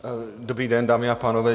Dobrý den, dámy a pánové.